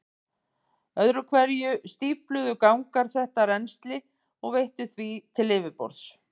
Öðru hverju stífluðu gangar þetta rennsli og veittu því til yfirborðs.